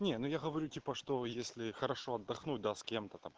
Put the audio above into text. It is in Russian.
не ну я говорю типа что если хорошо отдохнуть да с кем-то там